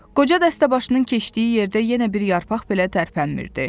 Qoca dəstəbaşının keçdiyi yerdə yenə bir yarpaq belə tərpənmirdi.